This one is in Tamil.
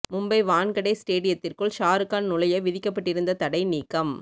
மும்பை வான்கடே ஸ்டேடியத்திற்குள் ஷாருக்கான் நுழைய விதிக்கப்பட்டிருந்த தடை நீக்கம்